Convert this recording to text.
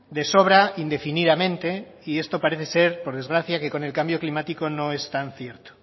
de sobra indefinidamente y esto parece ser por desgracia que con el cambio climático no es tan cierto